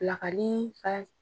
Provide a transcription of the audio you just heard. Pilakali